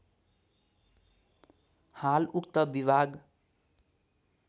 हाल उक्त विभाग